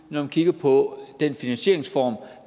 når man kigger på den finansieringsform